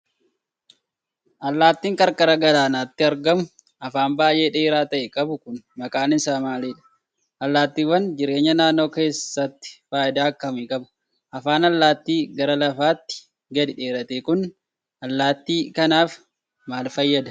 Allaattiin qarqara galaanaatti argamu afaan baay'ee dheeraa ta'e qabu kun maqaan isaa maalidha? Allaattiiwwan jireenya naannoo keessatti faayidaa akkamii qabu? Afaan allaattii gara lafaatti gadi dheerate kun, allaattii kanaaf maal fayyada?